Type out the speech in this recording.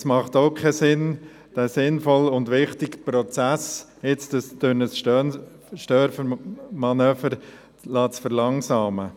Es macht auch keinen Sinn, diesen sinnvollen und wichtigen Prozess jetzt durch ein Störmanöver zu verlangsamen.